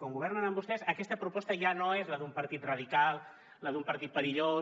com que governen amb vostès aquesta proposta ja no és la d’un partit radical la d’un partit perillós